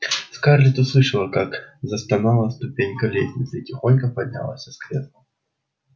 скарлетт услышала как застонали ступеньки лестницы и тихонько поднялась с кресла